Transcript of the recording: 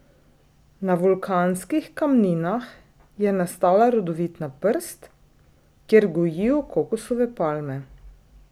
Na vulkanskih kamninah je nastala rodovitna prst, kjer gojijo kokosove palme.